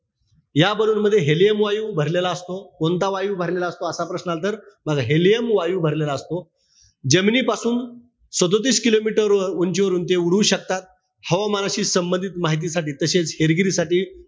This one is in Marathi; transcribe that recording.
या ballon मध्ये helium वायू भरलेला असतो. कोणता वायू भरलेला असतो, असा प्रश्न आला तर, बघा, helium वायू भरलेला असतो. जमिनीपासून सदोतीस kilometer वर, उंचीवरून ते उडू शकतात. हवामानाशी संबंधित माहितीसाठी तसेच हेरगिरीसाठी,